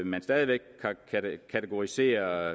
man stadig væk kategoriserer